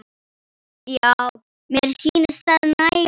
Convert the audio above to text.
Já, mér sýnist það nægja!